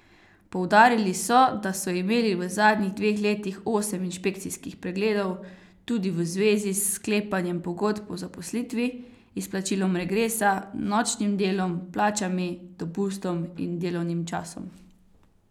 Poudarili so, da so imeli v zadnjih dveh letih osem inšpekcijskih pregledov, tudi v zvezi s sklepanjem pogodb o zaposlitvi, izplačilom regresa, nočnim delom, plačami, dopustom in delovnim časom.